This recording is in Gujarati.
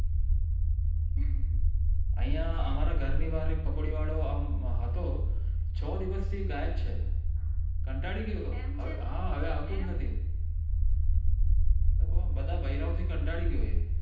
આયા અમારા ઘરીની બાર એક પકોડી વાળો આમ હતો છ દિવશ થી ગાયબ છે કંટાળી ગયો તો હવે આવતો જ નથી બધા બાયરા થી કંટાળી ગયા એ